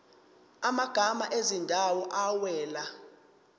amagama ezindawo awela